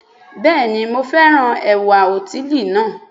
Bẹ́ẹ̀ni mo fẹ́ràn ẹ̀wà òtílí náà